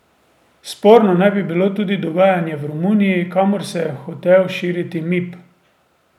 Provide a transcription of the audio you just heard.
Sporno naj bi bilo tudi dogajanje v Romuniji, kamor se je hotel širiti Mip.